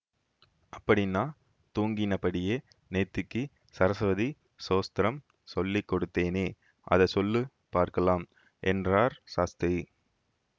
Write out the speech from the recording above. அப்படின்னா தூங்கினபடியே நேத்திக்கு ஸரஸ்வதி ஸ்தோத்திரம் சொல்லி கொடுத்தேனே அதை சொல்லு பார்க்கலாம் என்றார் சாஸ்திரி